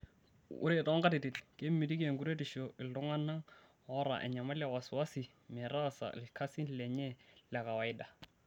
Ore toonkatitin, kemitiki enkuretisho iltungana oota enyamali e wasiwasi metaasa ilkasin lenye lekawaida.